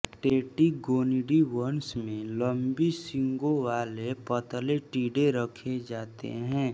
Tettigoniidae वंश में लंबी सींगोंवाले पतले टिड्डे रखे जाते हैं